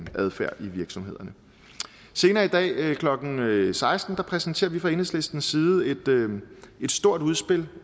adfærd i virksomhederne senere i dag klokken seksten præsenterer vi fra enhedslistens side et stort udspil